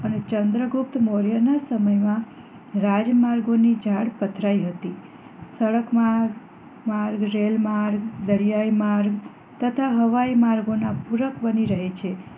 અને ચંદ્રગુપ્ત મૌર્યના સમયમાં રાજ માર્ગો ની ઝાળ પથરાયેલી હતી સડક માર્ગ માર્ગ રેલ્વે માર્ગ દરિયાઈ માર્ગ તથા હવાઈ માર્ગ ના પુરક બની રહે છે